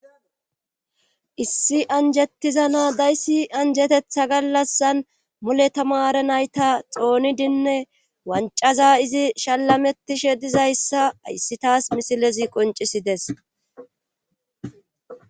issi anjettiza naa dayssi anjetetha gallassan mule tamare nayta xoonidinne wancaza izi shalametishe dizayssa ayssi taas misilezi qoncisides